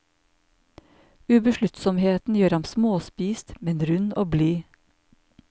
Ubesluttsomheten gjør ham småspist, men rund og blid.